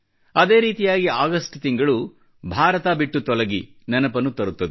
ಅದೇ ರೀತಿಯಾಗಿ ಆಗಸ್ಟ್ ತಿಂಗಳು ಭಾರತ ಬಿಟ್ಟು ತೊಲಗಿ ನೆನಪನ್ನು ತರುತ್ತದೆ